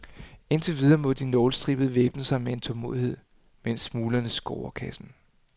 Indtil videre må de nålestribede væbne sig med tålmodighed, mens smuglerne scorer kassen.